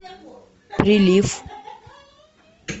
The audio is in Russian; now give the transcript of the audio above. прилив